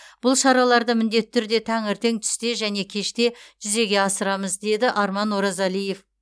бұл шараларды міндетті түрде таңертең түсте және кеште жүзеге асырамыз деді арман оразалиев